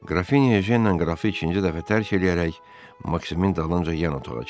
Qrafinya Ejennə qrafı ikinci dəfə tərk eləyərək Maksimin dalınca yan otağa keçdi.